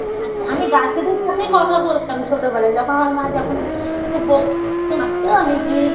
আচ্ছা আমি গাছেদের সাথেই কথা বলতাম ছোটবেলায় যখন আমার মা যখন খুব বকতো মারতো আমি গি